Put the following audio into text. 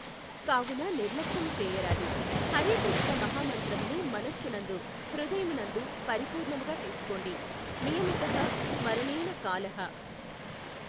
కావున నిర్లక్ష్యము చేయరాదు, హరే కృష్ణ మహామంత్రమును మనస్సు నందు హృదయము నందు పరిపూర్ణముగా తీసుకోండి, నియమితః స్మరణేన కాలః.